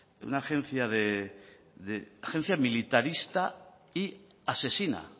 una agencia militarista y asesina